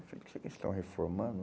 Eu falei, será que eles estão reformando?